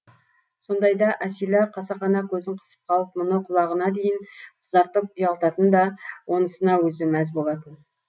сондайда әсила қасақана көзін қысып қалып мұны құлағына дейін қызартып ұялтатын да онысына өзі мәз болатын